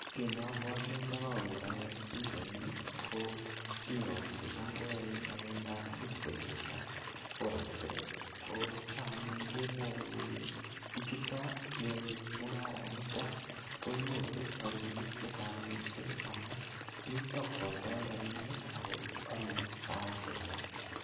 Kii neobwote ndo koroker anyun pichaini ko biiko chetam koyoe ngalekab bitcoin ak ngalekab forex ko cham anyun kemwoe kelee bichuto yoe mungara niton konyoru rabinik chechang mising amun mito kwoldo rabinik ak ko olee saishek alak.